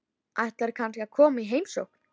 Ætlarðu kannski að koma í heimsókn?